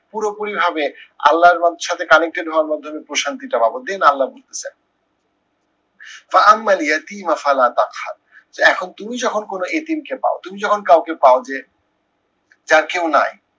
পুরোপুরিভাবে আল্লাহর বান্দার সাথে connected হওয়ার মাধ্যমে প্রসারণ দিতে পারবো then আল্লাহ বলতেসেন যে এখন তুমি যখন কোনো এতীমকে পাও, তুমি যখন কাউকে পাও যে, যার কেউ নাই